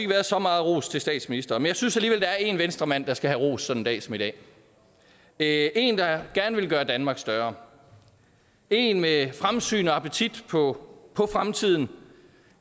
været så meget ros til statsministeren men jeg synes alligevel der er en venstremand der skal have ros sådan en dag som i dag det er en der gerne vil gøre danmark større en med fremsyn og appetit på fremtiden